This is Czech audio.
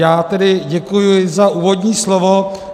Já tedy děkuji za úvodní slovo.